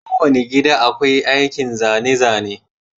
Kowane gida akwai aikin zane-zane.